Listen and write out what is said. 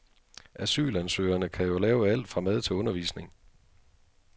Asylansøgerne kan jo lave alt fra mad til undervisning.